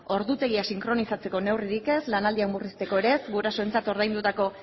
ordutegia sinkronizatzeko neurririk ez lan aldiak murrizteko ere ez gurasoentzat ordaindutako